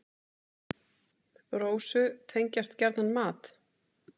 Rósu tengjast gjarnan mat.